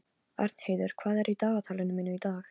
Arnheiður, hvað er í dagatalinu mínu í dag?